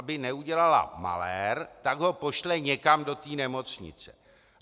Aby neudělala malér, tak ho pošle někam do té nemocnice.